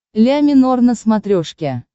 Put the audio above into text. ля минор на смотрешке